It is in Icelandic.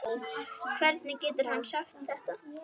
Hvernig getur hann sagt þetta?